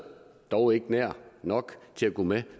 dog ikke nær nok til at gå med